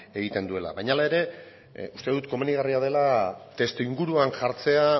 egiten duela baina hala ere uste dut komenigarria dela testuinguruan jartzea